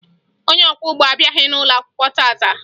Onye ọkwọụgbọ abịaghị n'ụlọakwụkwọ taa taa